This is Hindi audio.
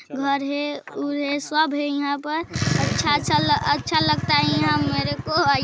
घर हैं उर हैं सब हैं यहाँ पर अच्छा अच्छा अच्छा लगता हैं यहाँ मेरेको आई --